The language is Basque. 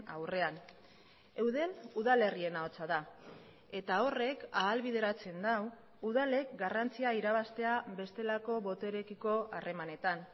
aurrean eudel udalerrien ahotsa da eta horrek ahalbideratzen du udalek garrantzia irabaztea bestelako boterekiko harremanetan